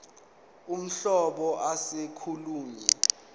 uhlobo ase kolunye